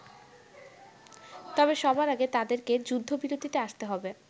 তবে সবার আগে তাদেরকে যুদ্ধবিরতিতে আসতে হবে।